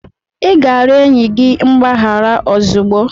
Ị ga-arịọ enyi gị mgbaghara ozugbo!